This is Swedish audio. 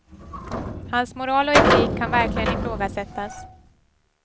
Hans moral och etik kan verkligen ifrågasättas.